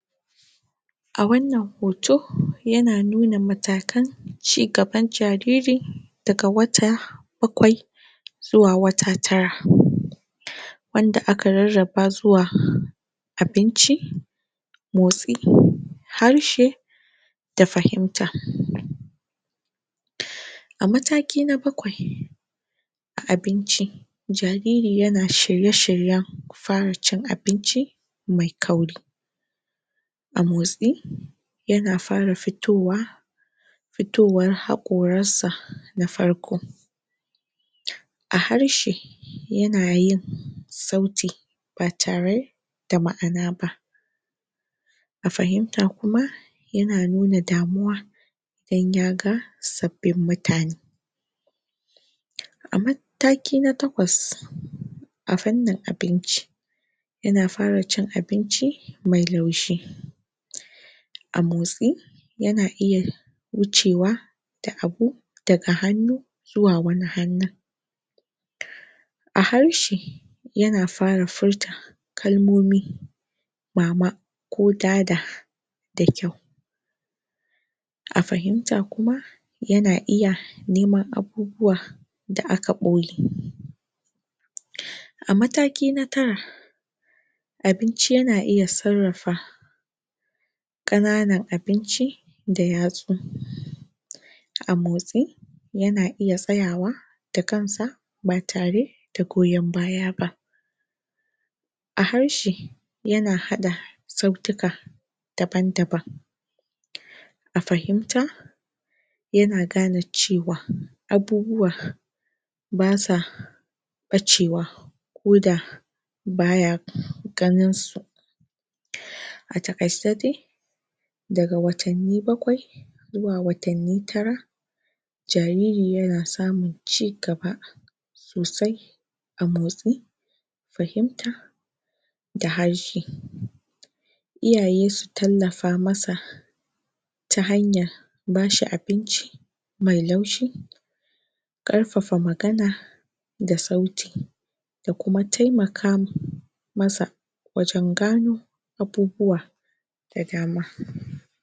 A wannan hoto yana nuna matakan ci gaban jariri daga wata bakwai zuwa wata tara wadda aka rarraba zuwa abinci motsi harshe da fahimta a mataki na bakwai abinci jariri yana shirye-shiryen fara cin abinci mai kauri a motsi yana fara fitowa fitowar haƙoransa na farko a harshe yana yin sauti ba tare da ma'ana ba a fahimta kuma yana nuna damuwa in ya ga sabbin mutane a mataki na takwas a fannun abinci yana fara cin abinci mai laushi a motsi yana iya wucewa da abu daga hannu zuwa wani hannun a harshe yana fara furta kalmomi mama ko dada da kyau a fahimta kuma yana iya neman abu buwa da aka ɓoye a mataki na tara abinci yana iya sarrafa ƙananan abinci da yatsu a motsi yana iya tsayawa da kansa ba tare goyan baya ba a harshe yana haɗa sautuka daban-daban a fahimta yana gane cewa abubuwa ba sa ɓacewa ko da ba ya ƙannansu a taƙaice dai daga watanni bakwai zuwa watanni tara jariri yana samun ci gaba sosai a motsi fahimta da harshe iyaye su tallafa masa ta hanyar bashi abinci mai laushi ƙarfafa magana da sauti da kuma taimaka masa wajen gano abubuwa da dama.